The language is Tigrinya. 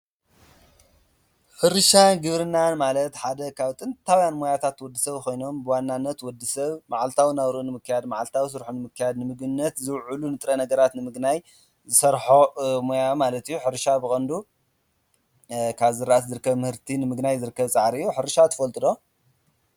ሕርሻ ግብርናን ማለት ሓደ ካብ ጥንታውያን ሞያታት ወዲ ሰብ ኾይኖም ብዋናነት ወዲ ሰብ መዓልታዊ ናብሩ ንምከያድ መዓልታዊ ስርኁ ንምካያድ ንምግብነት ዝውዕሉ ንጥረ ነገራት ንምግናይ ዝሠርሖ ሞያ ማለት እዩ። ሕርሻ ብቐንዱ ካብ ዝራእቲ ዝርከብ ምህርቲ ንምግናይ ዝርከብ ፃዕር እዮ። ሕርሻ ትፈልጥ ዶ?